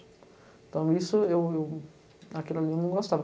Então, isso eu... Aquilo ali eu não gostava.